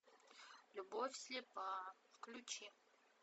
любовь слепа включи